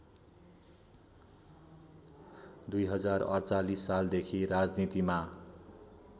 २०४८ सालदेखि राजनीतिमा